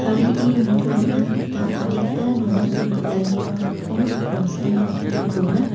nitoatna gita adita nongani pilanirang rokom rokom samrangko dona.